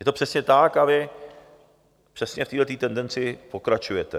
Je to přesně tak a vy přesně v téhle tendenci pokračujete.